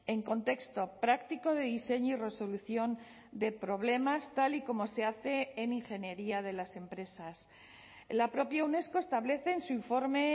en contexto práctico de diseño y resolución de problemas tal y como se hace en ingeniería de las empresas la propia unesco establece en su informe